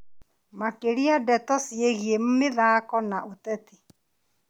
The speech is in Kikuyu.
Makĩria ndeto ciĩgiĩ mĩthako na ũteti.